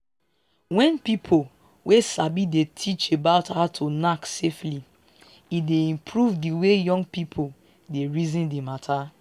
wen people wey sabi dey teach about how to knack safely e dey improve di way young people dey reason di matter